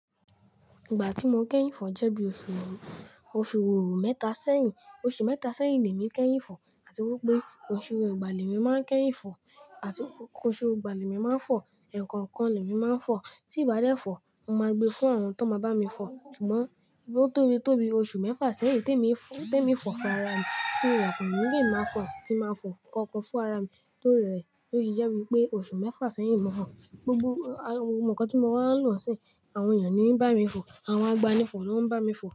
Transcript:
Ìgbà tí mo kẹ́yìn fọ̀ jẹ́ bí oṣù òru, oṣù òru mẹ́ta sẹ́yìn. Oṣù mẹ́ta sẹ́yìn ni èmi kẹ́yìn fọ̀, àti wípé oṣù ọgbà lèmi máa ń kẹ́yìn fọ̀. Àti pé oṣù ọgbà lèmi máa ń fọ̀, ẹ̀ẹ̀kan kan lèmi máa ń fọ̀. Tí ì bá dẹ́ fọ̀, mo máa gbe fún àwọn tó máa bá mi fọ̀. Ṣùgbọ́n bí ó tóbi tóbi, oṣù mẹ́fà sẹ́yìn tí èmi fọ̀ fún ara mi, tí mo yàtọ̀ nìyẹn máa fọ̀, tí máa fọ̀ kankan fún ara mi ló rẹ̀ ẹ. Ó sì jẹ́ wípé oṣù mẹ́fà sẹ́yìn ni mo fọ̀. Gbogbo nǹkan tí mo máa ń lò ni sín, àwọn èèyàn ni ń bá mi fọ̀, àwọn agbani fọ̀ ló ń bá mi fọ̀.